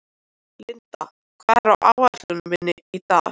Lindi, hvað er á áætluninni minni í dag?